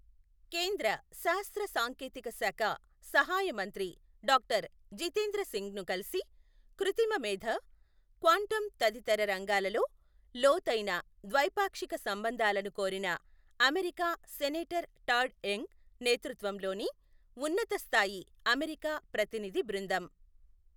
కేంద్ర శాస్త్ర సాంకేతిక శాఖ సహాయ మంత్రి డాక్టర్ జితేంద్ర సింగ్ను కలిసి, కృత్రిమ మేథ, క్వాంటమ్ తదితర రంగాలలో లోతైన ద్వైపాక్షిక సంబంధాలను కోరిన, అమెరికా సెనేటర్ టాడ్ యంగ్ నేతృత్వంలోని ఉన్నతస్థాయి అమెరికా ప్రతినిధి బృందం.